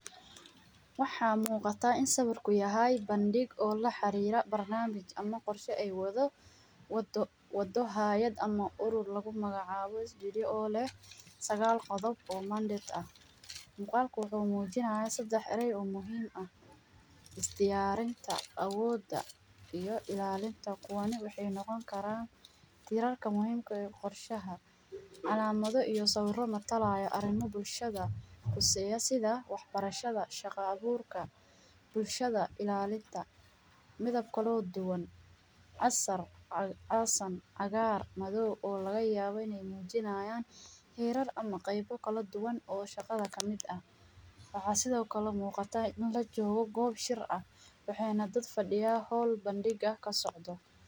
Waxaa muuqata in sawirku yahay bandhig oo la xariira barnaamij ama qorsho ay wado, wado hayad ama urur lagu magac aabo SDDA oo leh sagaal qodob oo mandate ah .Muqaalku waxuu muujinayaa sedax eray oo muhiim ah ;isdiyaarinta, awooda iyo ilaalinta kuwani waxa ay noqon karaan tiirarka muhiim ka ah ee qorshaha ,calaamado iyo sawiro matalaayo arrimo bulshada quseeyo sida ,wax barashada ,shaqa abuurka, bulshada ilaalinta, midab kaloo duwan ,casar, casan, cagaar madoow oo laga yaabo ineey mujinayaan tiirar ama qeybo kala duwan oo shaqada kamid ah ,waxaa sido kale muuqata in la joogo goob shir waxeyna dad fadhiyaan hall bandhiga ka socdo .